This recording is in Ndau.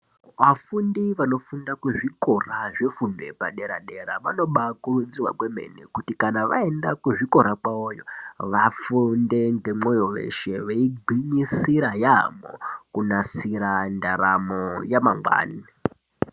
Vafundi vanofunda kuzvikora zvefundo yepadera dera vanobakurudzirwa kwemene kuti kana vaenda kuzvikora kwavoyo vafunde ngemwoyo weshe veigwinyisira yamho kunasira ndaramo yamangwani.